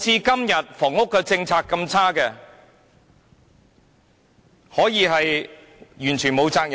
今天的房屋政策那麼差，政府完全沒有責任嗎？